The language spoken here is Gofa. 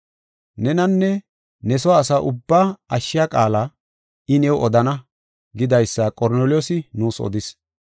Nenanne ne soo asa ubbaa ashshiya qaala I new odana’ gidaysa Qorneliyoos nuus odis.